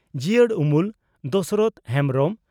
ᱡᱤᱭᱟᱹᱲ ᱩᱢᱩᱞ (ᱫᱚᱥᱚᱨᱚᱛᱷᱚ ᱦᱮᱢᱵᱽᱨᱚᱢ)